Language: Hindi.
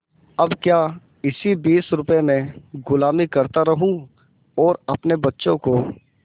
अब क्या इसी बीस रुपये में गुलामी करता रहूँ और अपने बच्चों को